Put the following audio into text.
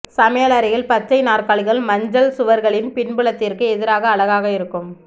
சமையலறையில் பச்சைக் நாற்காலிகள் மஞ்சள் சுவர்களின் பின்புலத்திற்கு எதிராக அழகாக இருக்கும்